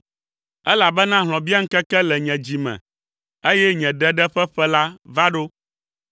elabena hlɔ̃biaŋkeke le nye dzi me, eye nye ɖeɖe ƒe ƒe la va ɖo.